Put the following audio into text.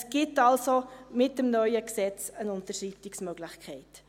Es gibt also mit dem neuen Gesetz eine Unterschreitungsmöglichkeit.